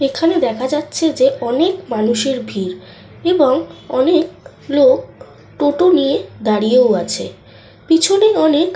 এখানে দেখা যাচ্ছে যে অনেক মানুষের ভিড়। এবং অনেক লোক টোটো নিয়ে দাঁড়িয়েও আছে। পিছনে অনেক।